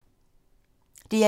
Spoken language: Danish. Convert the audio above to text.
DR1